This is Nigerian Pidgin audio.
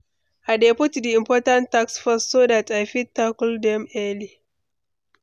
I dey put di important tasks first so dat i fit tackle dem early.